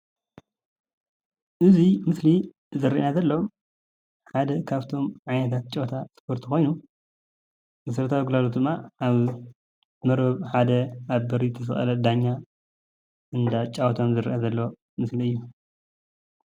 እዚ ምስሊ ዝረአየና ዘሎ ሓደ ካብቶም ዓይነታት ጨወታ እስፖርቲ ኮይኑ መሰረታዊ ግልጋሎት ድማ ኣብ መርበብ ሓደ ኣብ በሪ ዝተሰለቀለ ዳኛ እንዳጫወቶም ዝረአ ዘሎ ምስሊ እዩ፡፡